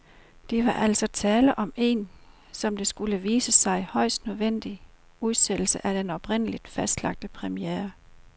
Der var altså tale om en, som det skulle vise sig, højst nødvendig udsættelse af den oprindeligt fastlagte premiere.